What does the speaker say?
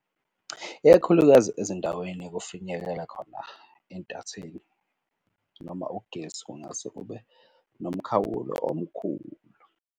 Ikakhulukazi ezindaweni kufinyekela khona intatheli noma ugesi kungase kube nomkhawulo omkhulu.